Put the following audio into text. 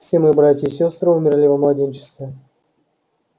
все мои братья и сёстры умерли во младенчестве